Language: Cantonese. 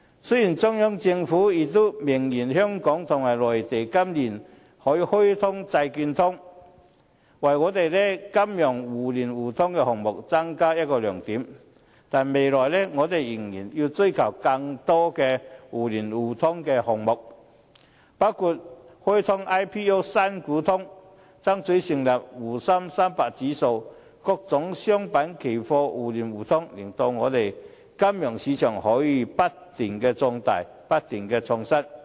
雖然中央政府已明言，香港和內地今年可以開通債券通，為香港的金融互聯互通項目增加另一個亮點，但未來我們仍然要追求更多的互聯互通項目，包括開通 "IPO" 新股通、爭取成立滬深300指數，各種商品期貨互聯互通，令香港的金融市場可以不斷壯大，不斷創新。